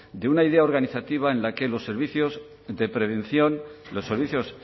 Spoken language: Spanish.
de una idea organizativa en la que los servicios de prevención los servicios